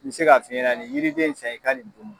N bɛ se ka fiɲɛna nin jiriden in san i ka ni dun.